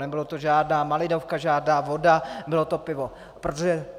Nebyla to žádná malinovka, žádná voda, bylo to pivo.